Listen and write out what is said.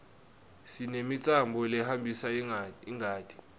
sinemitsambo lehambisa ingati